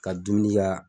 Ka dumuni kɛ